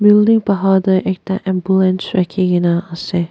building bahar tae ekta ambulance rakhi kaena ase.